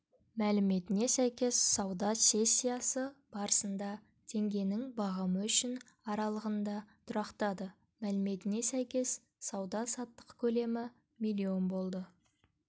мәліметіне сәйкес сауда сессиясы барысында теңгенің бағамы үшін аралығында тұрақтады мәліметіне сәйкес сауда-саттық көлемі миллион болды